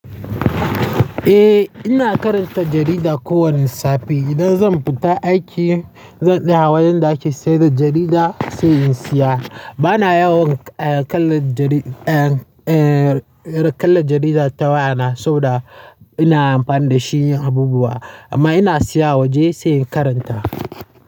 Eh ina karanta jarida kowane safe. Idan zan fita aiki zan tsaya wajen da ake siyar da jarida sai in saya. Bana yawan karanta jarida ta waya na saboda ina amfani da shi wajan yin abubuwa amma ina saya a waje sai in karanta.